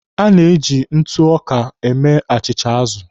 A na-eji ntụ ọka eme achịcha azụ.